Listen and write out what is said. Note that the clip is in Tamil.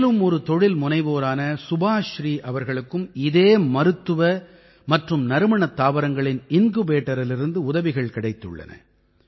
மேலும் ஒரு தொழில் முனைவோரான சுபாஸ்ரீ அவர்களுக்கும் இதே மருத்துவ மற்றும் நறுமணத் தாவரங்களின் இன்குபேட்டரிடமிருந்து உதவிகள் கிடைத்துள்ளன